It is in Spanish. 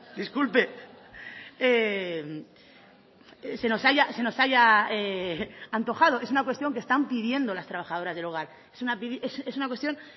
disculpe se nos haya se nos haya antojado es una cuestión que están pidiendo las trabajadoras del hogar es una cuestión